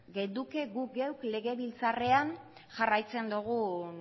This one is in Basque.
genuke guk geuk legebiltzarrean jarraitzen dugun